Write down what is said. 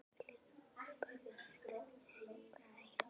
Ég hlyti að hafa brugðist henni einhvern veginn.